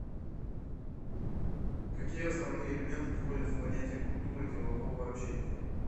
какие основные элементы входят в понятие культура делового общения